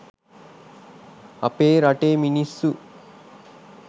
අපේ රටේ මිනිස්සු